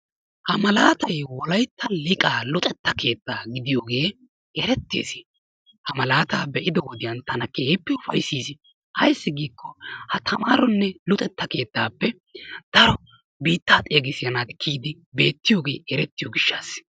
Ha malaatay wolaytta liqqa luxetta keetta gidiyoge erettis. Ha malaata bei'do wodiyan tana keehippe ufaayssis. Ayssi giko ha tamarone luxetta keettape daro biita xeegisiya naati kiyidi beettiyoogee erettiyo gishshaassi.